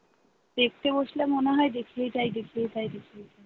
দেখতে বসলে মনে হয় দেখেই যায় দেখেই যায় দেখেই যায়।